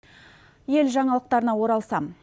ел жаңалықтарына оралсам